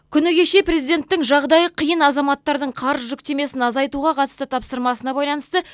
күні кеше президенттің жағдайы қиын азаматтардың қарыз жүктемесін азайтуға қатысты тапсырмасына байланысты